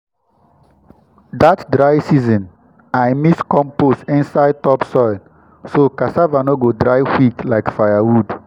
that dry season i mix compost inside top soil so cassava no go dry quick like firewood.